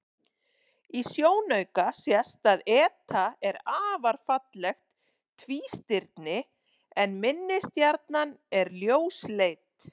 Í sjónauka sést að eta er afar fallegt tvístirni en minni stjarnan er ljósleit.